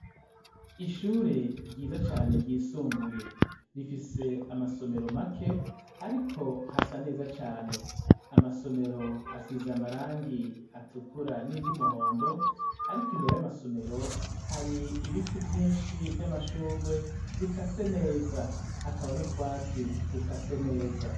Ishure ryiza cane ryisumbuye rifise amasomero make, ariko hasa neza cane amasomero asize amarangi atukura n'iryo umuhondo, ariko imbere y'amasomero hari ibiti vyinshi vy'amashurwe bika se neza hakaba n'utwatsire duka se neza.